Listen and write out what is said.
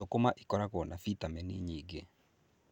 Thũkũma ikoragwo na bitameni nyingĩ.